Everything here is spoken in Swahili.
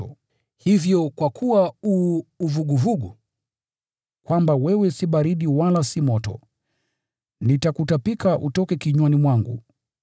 Hivyo kwa kuwa u vuguvugu, si baridi wala moto, nitakutapika utoke kinywani mwangu.